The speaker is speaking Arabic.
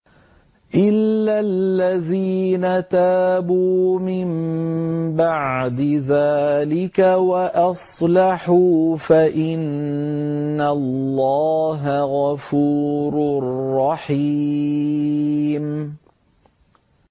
إِلَّا الَّذِينَ تَابُوا مِن بَعْدِ ذَٰلِكَ وَأَصْلَحُوا فَإِنَّ اللَّهَ غَفُورٌ رَّحِيمٌ